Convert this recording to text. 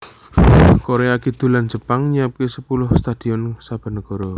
Korea Kidul lan Jepang nyiapake sepuluh stadion saben negara